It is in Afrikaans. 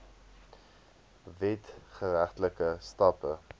wet geregtelike stappe